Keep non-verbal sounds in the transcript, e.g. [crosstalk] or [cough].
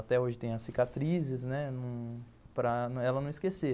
Até hoje tem as cicatrizes, né, [unintelligible] para ela não esquecer.